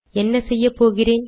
என்ன செய்யப்போகிறேன்